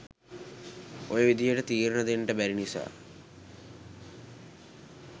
ඔය විදියට තීරණ දෙන්ට බැරි නිසා.